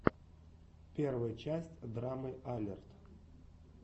первая часть драмы алерт